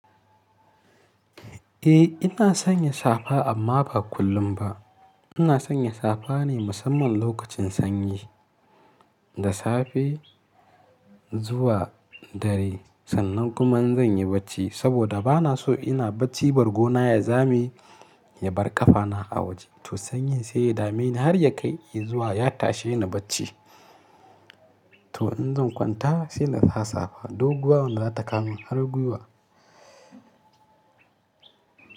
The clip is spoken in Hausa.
Eh ina sanya safa amma ba kullum ba. Ina sanya safa ne musamman lokacin sanyi da safe zuwa dare. Sannan kuma in zan yi bacci saboda bana so ina bacci bargona ya zame ya bar ƙafana a waje. To sanyin sai ya dame ni har ya kai i zuwa ya tashe ni bacci. To in zan kwanta sai na sa safa. Doguwa wanda za ta kawo man har gwiwa.